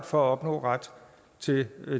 for at opnå ret til